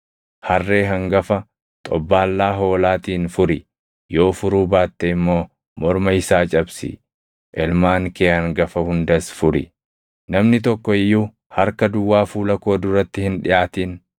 Harree hangafa xobbaallaa hoolaatiin furi; yoo furuu baatte immoo morma isaa cabsi. Ilmaan kee hangafa hundas furi. “Namni tokko iyyuu harka duwwaa fuula koo duratti hin dhiʼaatin.